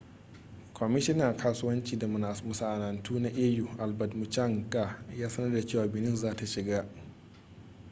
kwamishinan kasuwanci da masana'antu na au albert muchanga ya sanar da cewa benin za ta shiga